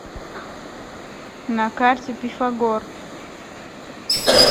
на карте пифагор